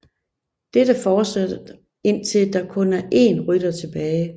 Dette fortsætter indtil der kun er én rytter tilbage